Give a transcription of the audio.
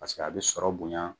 a bɛ sɔrɔ bonya